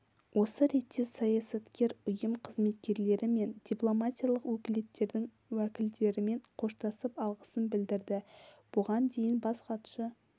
осы ретте саясаткер ұйым қызметкерлері мен дипломатиялық өкілдіктердің уәкілдерімен қоштасып алғысын білдірді бұған дейін бас хатшы